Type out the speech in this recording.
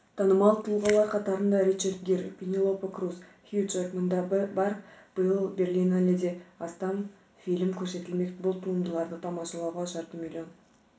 танымал тұлғалар қатарында ричард гир пенелопа крус хью джекман да бар биыл берлиналеде астам фильм көрсетілмек бұл туындыларды тамашалауға жарты миллион